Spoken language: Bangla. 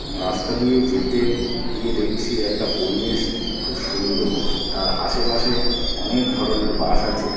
রাস্তা দিয়ে যেতে গিয়ে দেখছি একটা পরিবেশ খুব সুন্দর। তার আশেপাশে অনেক ধরনের বাস আছে।